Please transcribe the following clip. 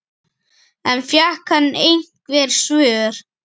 En fékk hann einhver svör?